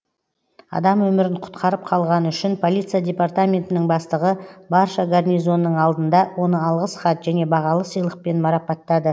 адам өмірін құтқарып қалғаны үшін полиция департаментінің бастығы барша гарнизонның алдында оны алғыс хат және бағалы сыйлықпен марапаттады